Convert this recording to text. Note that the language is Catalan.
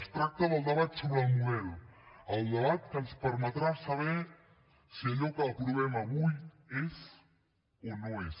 es tracta del debat sobre el model el debat que ens permetrà saber si allò que aprovem avui és o no és